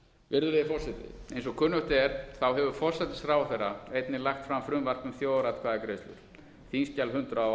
virðulegi forseti eins og kunnugt er hefur forsætisráðherra einnig lagt fram frumvarp um þjóðaratkvæðagreiðslur þingskjal hundrað og